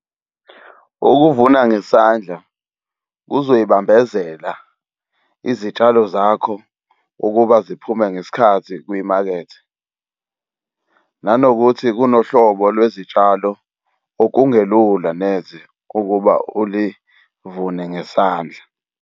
Ukuvuna ngesandla kuzoy'bambezela izitshalo zakho ukuba ziphume ngesikhathi kwimakethe. Nanokuthi kunohlobo lwezitshalo okungelula neze ukuba ulivune ngesandla.